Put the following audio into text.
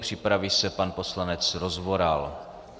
Připraví se pan poslanec Rozvoral.